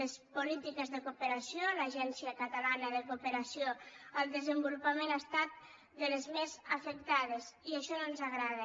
les polítiques de cooperació l’agència catalana de cooperació al desenvolupament han estat de les més afectades i això no ens agrada